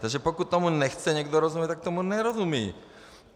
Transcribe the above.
Takže pokud tomu nechce někdo rozumět, tak tomu nerozumí.